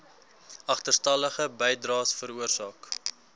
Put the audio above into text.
agterstallige bydraes veroorsaak